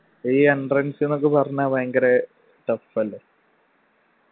ഈ entrance ന്ന്‌ ഒക്കെ പറഞ്ഞ വയങ്കര tough അല്ലെ